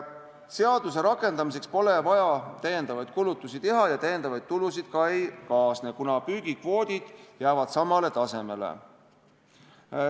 Seaduse rakendamiseks pole vaja lisakulutusi teha ja lisatulusid ka ei kaasne, kuna püügikvoodid jäävad samale tasemele.